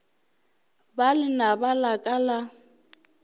ba lenaba la ka la